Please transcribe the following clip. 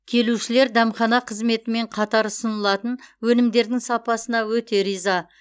келушілер дәмхана қызметімен қатар ұсынылатын өнімдердің сапасына өте риза